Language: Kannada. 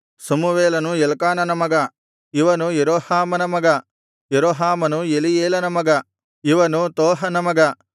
ಸಮುವೇಲನು ಎಲ್ಕಾನನ ಮಗ ಇವನು ಯೆರೋಹಾಮನ ಮಗ ಯೆರೋಹಾಮನು ಎಲೀಯೇಲನ ಮಗ ಇವನು ತೋಹನ ಮಗ